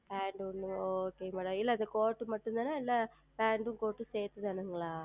Pant வருமங்களா ஓ Okay Madam இல்லை அது Court மட்டும் தானே இல்லை PantCourt சேர்ந்து தானே